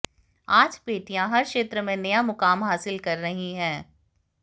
आज बेटियां हर क्षेत्र में नया मुकाम हासिल कर रही हैं